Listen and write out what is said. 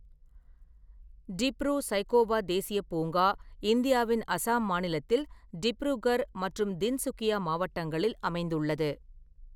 டிப்ரூ-சைக்கொவா தேசியப் பூங்கா இந்தியாவின் அசாம் மாநிலத்தில் டிப்ருகர் மற்றும் தின்சுகியா மாவட்டங்களில் அமைந்துள்ளது.